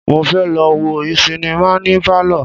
Mo fẹ́ lọ wo sinimá ní Pálọ̀.